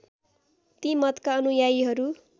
ती मतका अनुयायीहरू